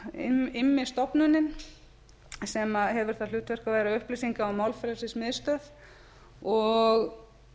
institute immi stofnunin sem hefur það hlutverk að vera upplýsinga og málfrelsismiðstöð og